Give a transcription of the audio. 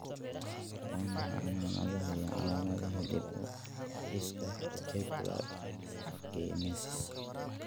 Waa maxay calamadaha iyo calamadaha dib-u-dhiska (Reticular dysgenesis)?